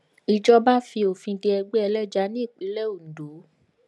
ìjọba fi òfin de ẹgbẹ ẹlẹja ní ìpínlẹ ondo